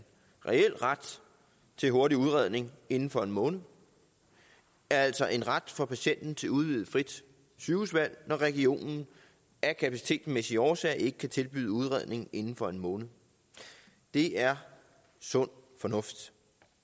reel ret til hurtig udredning inden for en måned det er altså en ret for patienten til udvidet frit sygehusvalg når regionen af kapacitetsmæssige årsager ikke kan tilbyde udredning inden for en måned det er sund fornuft